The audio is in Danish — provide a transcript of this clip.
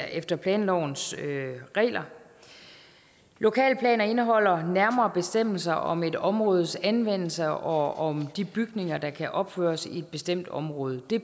efter planlovens regler lokalplaner indeholder nærmere bestemmelser om et områdes anvendelse og om de bygninger der kan opføres i et bestemt område det